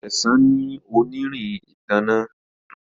Sesan ní onirin ìtanná.